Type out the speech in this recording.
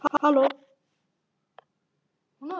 Er það Björg eða Björk?